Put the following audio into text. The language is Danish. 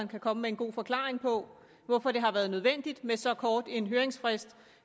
kan komme med en god forklaring på hvorfor det har været nødvendigt med så kort en høringsfrist